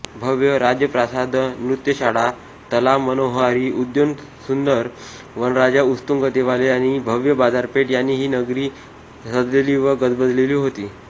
भव्य राजप्रासादनृत्यशाळातलावमनोहारी उद्यानेसुंदर वनराइउत्तुंग देवालये आणि भव्य बाजारपेठ यांनी ही नगरी सजलेली व गजबजलेली होती